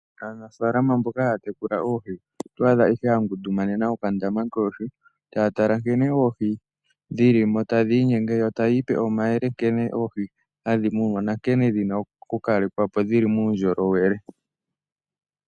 Aanafaalama mboka haya tekula oohi, oto adha ihe ya ngundumanena okandama koohi taya tala nkene oohi dhili mo tadhi inyenge, yo taya ipe omayele nkene oohi hadhi munwa nankene dhi na okukalekwa po dhi li muundjolowele.